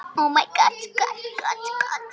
Eftir því hvað hver vill.